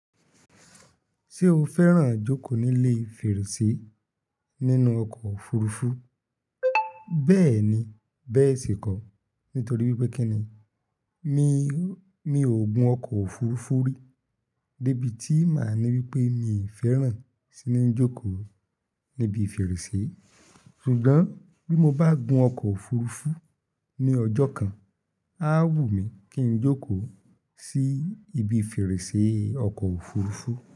Ṣé o fẹ́ràn jókòó nílé fèrèsé nínú ọkọ̀ òfurufú? Bẹ́ẹ̀ni, bẹ́ẹ̀ sì kọ́. Nítorí wípé kíni mi mi ò gun ọkọ̀ òfurufú rí, débi tí màá ní wípé mi fẹ́ràn sí ní jókòó níbi fèrèsé. Ṣùgbọ́n bí mo bá gun ọkọ òfurufú ní ọjọ́ kan, a wù mí kí n jókòó sí ibi fèrèsé ọkọ̀ òfurufú.